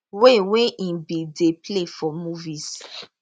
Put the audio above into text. wey wey im bin dey play for movies